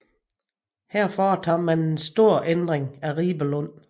Her foretager man en stor ændring af Ribelund